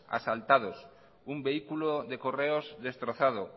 asaltados un vehículo de correos destrozado